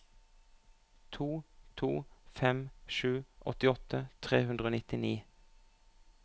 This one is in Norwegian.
to to fem sju åttiåtte tre hundre og nittini